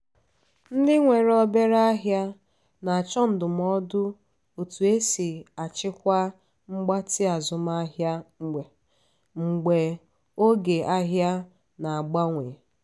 ndị nwere obere ahịa na-achọ ndụmọdụ otú e si achịkwa mgbatị azụmahịa mgbe oge ahia na-agbanwe.